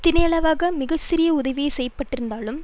தினை அளவாக மிக சிறிய உதவியே செய்யப்பெற்றிருந்தாலும்